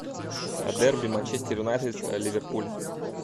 дерби манчестер юнайтед ливерпуль